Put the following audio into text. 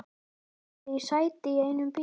Ég náði í sæti í einum bílnum.